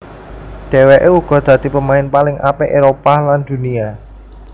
Dhéwéké uga dadi pemain paling apik Éropah lan Dunia